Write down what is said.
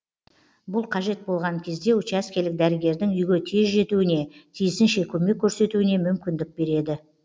бұл қажет болған кезде учаскелік дәрігердің үйге тез жетуіне тиісінше көмек көрсетуіне мүмкіндік береді